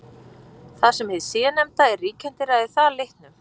Þar sem hið síðarnefnda er ríkjandi ræður það litnum.